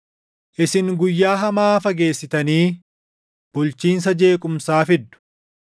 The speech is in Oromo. Isin guyyaa hamaa fageessitanii bulchiinsa jeequmsaa fiddu.